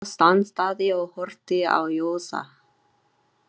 Emil stansaði og horfði á Jósa.